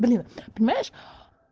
блин понимаешь